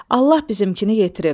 Allah bizimkini yetirib.